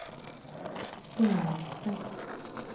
senaste